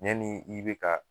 Ɲanni ni i bɛ ka